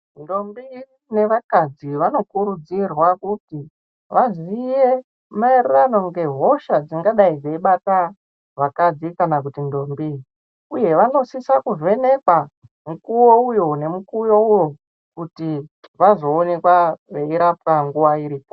Ndombi nevakadzi vanokurudzirwa kuti vaziye maererano nehosha dzingadayi dzeibata vakadzi kana kuti ndombi uye vanosise kuvhenekwa mukuwo uyo nemukuwo uyo kuti vazoonekwa veirapwa nguwa iripo.